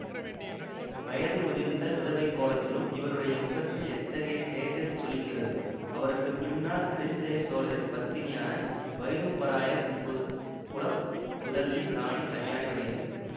வயது முதிர்ந்த விதவைக் கோலத்திலும் இவருடைய முகத்தில் எத்தகைய தேஜஸ் ஜொலிக்கிறது அவருக்கு பின்னால் அரிஞ்சய சோழரின் பத்தினியான வைதும்பராயர் குத குல புதல்வி ராணி கல்யாணி வருகிறார்